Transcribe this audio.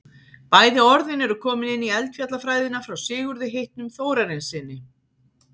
bæði orðin eru komin inn í eldfjallafræðina frá sigurði heitnum þórarinssyni